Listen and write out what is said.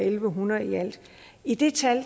en hundrede i alt i det tal